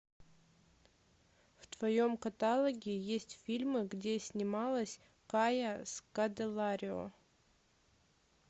в твоем каталоге есть фильмы где снималась кая скоделарио